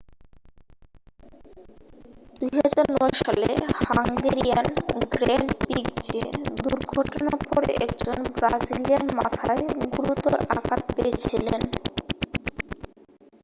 2009 সালে Hungarian grand প্রিক্সে দুর্ঘটনার পরে একজন ব্রাজিলিয়ান মাথায় গুরুতর আঘাত পেয়েছিলেন